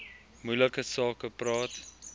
moeilike sake praat